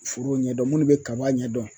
Foro ɲɛdɔn munnu be kaba ɲɛdɔn